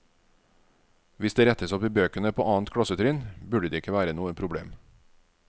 Hvis dette rettes opp i bøkene på annet klassetrinn, burde det ikke være noe problem.